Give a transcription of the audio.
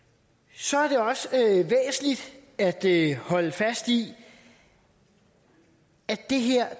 så er det også væsentligt at holde fast i at det her